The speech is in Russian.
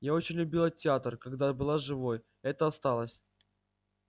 я очень любила театр когда была живой это осталось